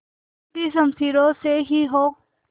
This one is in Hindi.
टूटी शमशीरों से ही हो